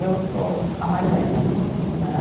Eu sou a mais velha né